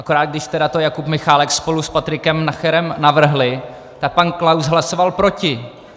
Akorát když to tedy Jakub Michálek spolu s Patrikem Nacherem navrhli, tak pan Klaus hlasoval proti.